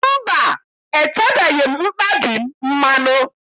Mba, etebeghị m mkpabi m mmanụ.